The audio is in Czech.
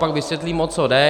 Pak vysvětlím, o co jde.